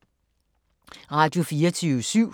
Radio24syv